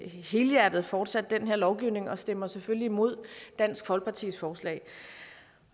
helhjertet fortsat den lovgivning og stemmer selvfølgelig imod dansk folkepartis forslag